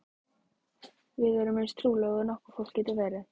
Við erum eins trúlofuð og nokkurt fólk getur verið.